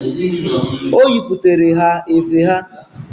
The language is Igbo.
O yiputere ha efe ha.